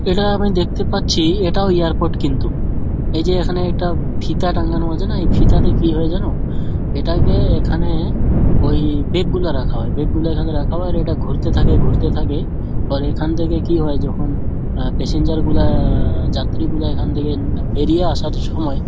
এটা আমি দেখতে পাচ্ছি এটাও এয়ারপোর্ট কিন্তু এই যে এখানে একটা ফিতা টাঙানো আছে না এই ফিতাতে কী হয় জানো এটাকে এখানে ওই বেগ গুলো রাখা হয় ওই বেগ -গুলো এখানে রাখা হয় আর এটা ঘুরতে থাকে ঘুরতে থাকে। আর এখান থেকে কী হয় যখন অ্যা পেসেঞ্জার গুলা-আ যাত্রীগুলা-আ এখান থেকে বেরিয়ে আসার সময়--